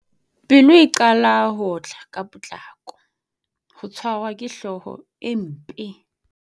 Pelo e qala ho otla ka potlako. Ho tshwarwa ke hlooho e mpe.